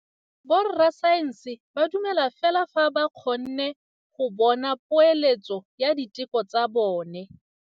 Borra saense ba dumela fela fa ba kgonne go bona poeletsô ya diteko tsa bone.